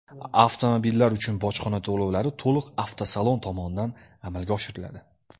Avtomobillar uchun bojxona to‘lovlari to‘liq avtosalon tomonidan amalga oshiriladi.